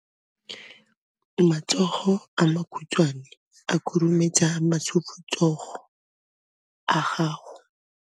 Matsogo a makhutshwane a khurumetsa masufutsogo a gago.